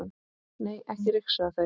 Nei, ekki ryksuga þau.